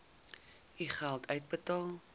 u geld uitbetaal